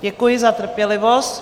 Děkuji za trpělivost.